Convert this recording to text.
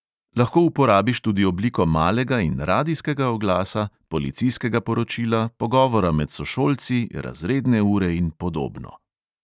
Lahko uporabiš tudi obliko malega in radijskega oglasa, policijskega poročila, pogovora med sošolci, razredne ure in podobno.